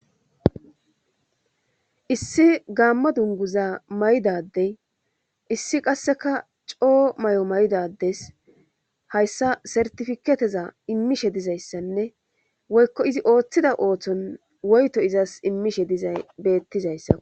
Issi gaamma dunguza maydadey issi qasseka coo may7o maydades hayssa sertifiketeza immishe dizayssanne woykko izi ooththida ooththon woyto izas immishe dizay beettizayssa.